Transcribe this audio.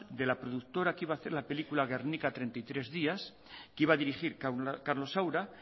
de la productora que iba a hacer la película guernica treinta y tres días que iba a dirigir carlos saura